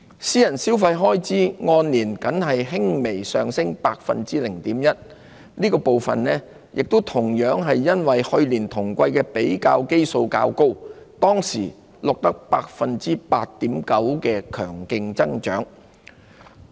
私人消費開支按年僅微升 0.1%， 這個部分亦同樣由於去年同季的比較基數較高，當時錄得 8.9% 的強勁增長。